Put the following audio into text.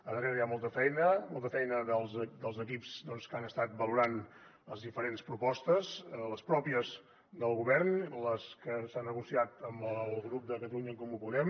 a darrere hi ha molta feina molta feina dels equips que han estat valorant les diferents propostes les pròpies del govern les que s’han negociat amb el grup de catalunya en comú podem